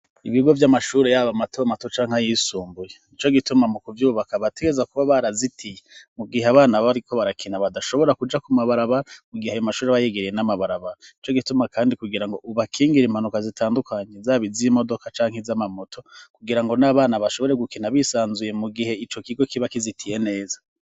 Ibigo vy'amashuri y'abo mato matuca nka yisumbuye nico gituma mu kubyubaka bategeza kuba barazitiye mu gihe abana bariko barakina badashobora kuja ku mabaraba mu gihe ayo mashuri abayigeriye n'amabaraba ico gituma kandi kugira ngo ubakingira impanuka zitandukanye zabiz imodoka cank iz'amamoto kugira ngo n'abana bashobore gukina bisanzuye mu gihe ico kigo kiba kizitiye neza.